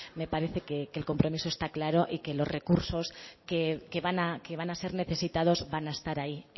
me parece que el compromiso está claro y que los recursos que van a ser necesitados van a estar ahí